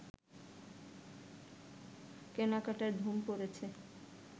কেনাকাটার ধুম পড়েছে